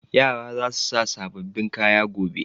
Yara za su sa sababbin kaya gobe.